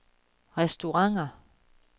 restauranter